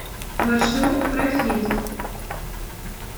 маршрут профит